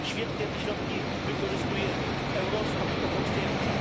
Świetnie te środki wykorzystujemy, Eurostat to potwierdza.